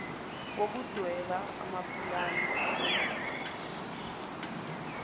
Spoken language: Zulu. wokudweba amapulani emboni